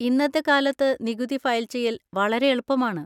ഇന്നത്തെ കാലത്ത് നികുതി ഫയൽ ചെയ്യൽ വളരെ എളുപ്പമാണ്.